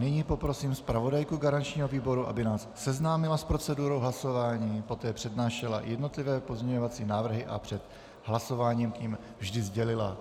Nyní poprosím zpravodajku garančního výboru, aby nás seznámila s procedurou hlasování, poté přednášela jednotlivé pozměňovací návrhy a před hlasováním k nim vždy sdělila